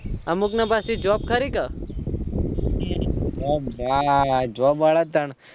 અમુક ને પાછી job ખરી તા